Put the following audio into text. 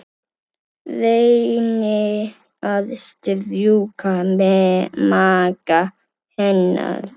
Reyni að strjúka maga hennar.